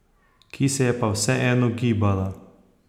Ki se je pa vseeno gibala.